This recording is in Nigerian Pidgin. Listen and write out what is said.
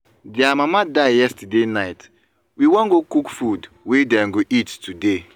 dia mama die yesterday night we wan go cook food wey dem go eat today